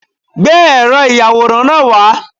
Gbé ẹ̀rọ ìyàwòrán náà wá